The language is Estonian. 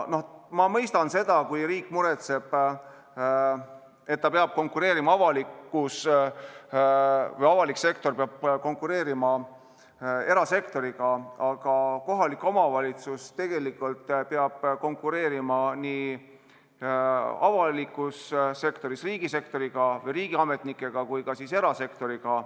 Ma mõistan seda, kui riik muretseb, et avalik sektor peab konkureerima erasektoriga, aga kohalik omavalitsus peab konkureerima nii riigisektoriga kui ka erasektoriga.